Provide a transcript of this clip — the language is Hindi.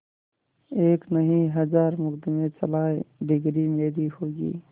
एक नहीं हजार मुकदमें चलाएं डिगरी मेरी होगी